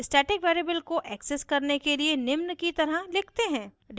static variable को access करने के लिए निम्न की तरह लिखते हैं: